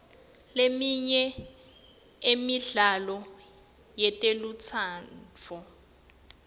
leminye emidlalo yetelutsandvo